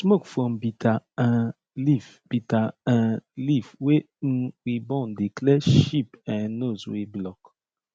smoke from bitter um leaf bitter um leaf wey um we burn dey clear sheep um nose wey block